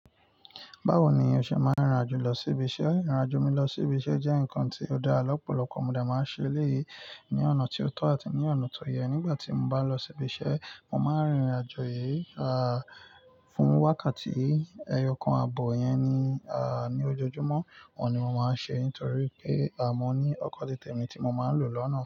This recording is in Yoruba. Báwo ni o ṣe máa ń rìn rìn àjò lọ sí ibi iṣẹ́? Ìrìn àjò mi lọ sí ibi iṣẹ́ jẹ́ nǹkan tí ó dá lọ̀pọ̀lọpọ̀ mọdé máa ṣe éleyii ní ọ̀nà tí ó tọ́ àti ní ọ̀nà tó yẹ. Nígbà tí mo bá lọ sí ibi iṣẹ́, mo máa ń rìnrìn àjò yìí, à, fún wákàtí ẹyọkan ààbọ̀ yẹn ni, à, ní ojoojúmọ́. Òun ni mo máa ń ṣe nítorí pé a mọ ní ọkọ̀ titẹ̀ mi tí mo máa ń lò lọ́nà.